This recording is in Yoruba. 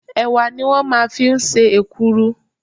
Ẹ̀wà ni wọ́n máa ń fi ń ṣe èkuru.